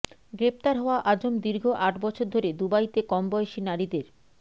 গ্রেফতার হওয়া আজম দীর্ঘ আট বছর ধরে দুবাইতে কম বয়সী নারীদের